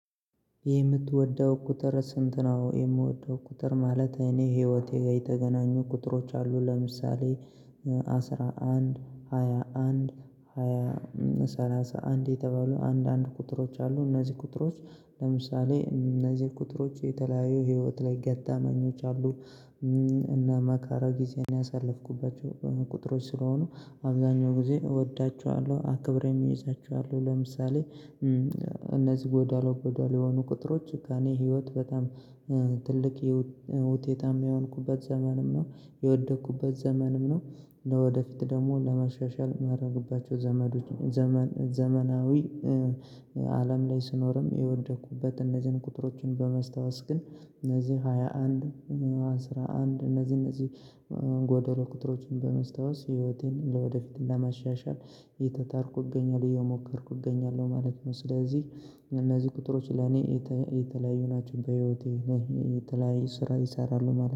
የምትወደው ቁጥር ስንት ነው? የምወደው ቁጥር ማለት እኔ ህይወቴ የተገናኙ ቁጥሮች አሉ። ለምሳሌ አስራ አንድ ሃያ አንድ ሃያ ሰላሳ አንድ የተባሉ አንድ አንዳንድ ቁጥሮች አሉ እነዚህ ቁጥሮች ለምሳሌ እነዚህ ቁጥሮች የተለያየ ህይወት ላይ ገታ መኞች አሉ። እና መካራ ጊዜ ነው ያሳለፍኩባቸው ቁጥሮች ስለሆኑ አብዛኛው ጊዜ እወዳቸዋለሁ። አክብረህ የሚያይዛቸው አሉ ለምሳሌ እነዚህ ጎዳሎ ጎዳሎ የሆኑ ቁጥሮች ከእኔ ህይወት በጣም ትልቅ የውጤትም የሆንኩበት ዘመንም ነው የወደኩበት ዘመንም ነው። ወደፊት ደግሞ ለመሻሻል ማድረግባቸው ዘመዱ ዘመን ዘመናዊ አለም ላይ ስኖርም የወደኩበት እነዚህን ቁጥሮችን በመስታወስ ግን እነዚህ ሃያ አንድ አስራ አንድ እነዚህ እነዚህ ጎደሎ ቁጥሮችን በመስታወስ ህይወቴን ለወደፊት ለማሻሻል የጣጣርኩ እገኛለሁ የሞከርኩ እገኛለሁ ማለት ነው። ስለዚህ እነዚህ ቁጥሮች ለኔ የተለያዩ ናቸው በህይወቴ ነህ የተለያየ ስራ ይሰራሉ ማለት ነው